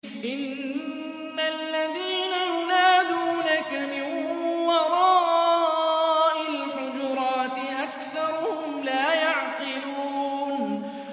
إِنَّ الَّذِينَ يُنَادُونَكَ مِن وَرَاءِ الْحُجُرَاتِ أَكْثَرُهُمْ لَا يَعْقِلُونَ